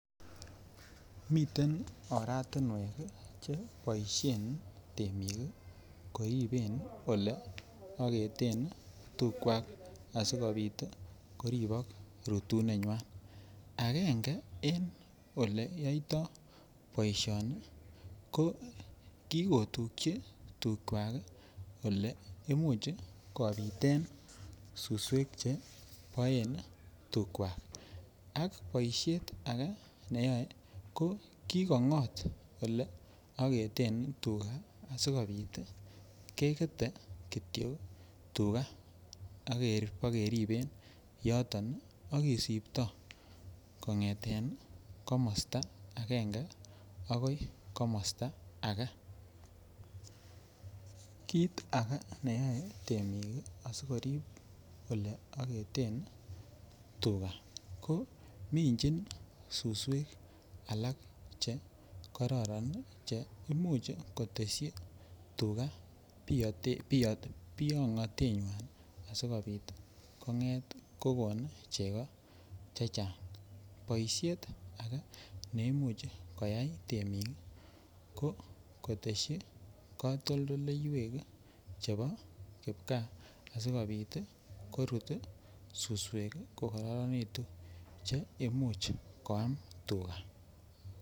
Miten oratinwek cheboisen temik koriben oleaketen tugwak asi kobit koribok rutenenywa agenge en Ole yoito boisioni ko ki ko tukyi tugwak Ole Imuch kobiten suswek Che boen tugwak ak boisiet ak ake neyoe ko ki ko ngot Ole aketen tuga asikobit kegete Kityo tuga ak kobakeriben yoto ak kisiptoi kongeten komosta agenge agoi komosta ake kit ake neyoe temik aisikorib Ole aketen tuga ko minjin suswek alak Che kororon Che Imuch kotesyi tuga biyotenywan asikobit kongeet kogoon chego chechang boisiet ake ne Imuch koyai temik ii ko kotesyi katoldoywek chebo kipkaa asikobit korut suswek ko kororonitu Che Imuch koam tuga